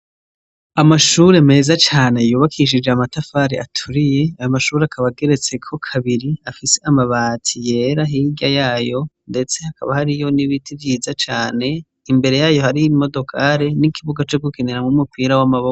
Amashure meza cane yubakishije amatafari aturiye, ayo mashure akaba ageretseko kabiri afise amabati yera, hirya yayo ndetse haka hariyo ibiti vyiza cane, imbere yayo hariyo imodokare n'ikibuga co gukiniramwo umipira w'amaboko.